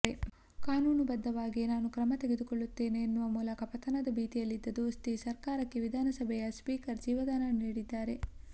ಕಾನೂನು ಬದ್ದವಾಗಿಯೇ ನಾನು ಕ್ರಮ ತೆಗೆದುಕೊಳ್ಳುತ್ತೇನೆ ಎನ್ನುವ ಮೂಲಕ ಪತನದ ಭೀತಿಯಲ್ಲಿದ್ದ ದೋಸ್ತಿ ಸರ್ಕಾರಕ್ಕೆ ವಿಧಾನಸಭೆಯ ಸ್ಪೀಕರ್ ಜೀವಧಾನ ನೀಡಿದ್ದಾರೆ